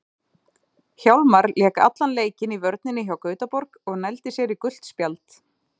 Hjálmar lék allan leikinn í vörninni hjá Gautaborg og nældi sér í gult spjald.